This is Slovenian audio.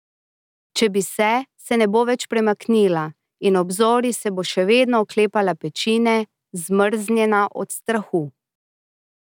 Če bi se, se ne bo več premaknila, in ob zori se bo še vedno oklepala pečine, zmrznjena od strahu.